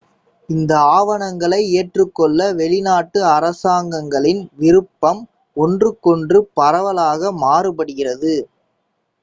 இந்த ஆவணங்களை ஏற்றுக்கொள்ள வெளிநாட்டு அரசாங்கங்களின் விருப்பம் ஒன்றுக்கொன்று பரவலாக மாறுபடுகிறது